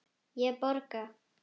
Ég borga.